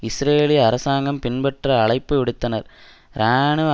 இஸ்ரேலிய அரசாங்கம் பின்பற்ற அழைப்பு விடுத்தனர் இராணுவ